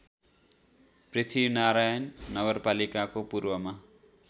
पृथ्वीनारायण नगरपालिकाको पूर्वमा